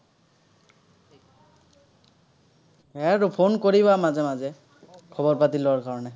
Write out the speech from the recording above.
সেয়াই আৰু phone কৰিবা মাজে মাজে, খবৰ-পাতি লোৱাৰ কাৰনে।